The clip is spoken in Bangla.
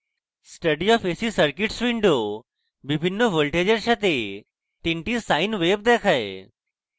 study of ac circuits window বিভিন্ন voltages সাথে তিনটি sine waves দেখায়